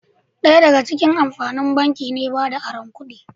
Daya daga cikin amfanin banki ne bada aron kudi